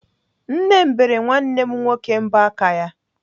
Nne m bere nwanne m nwoke mbọ aka ya.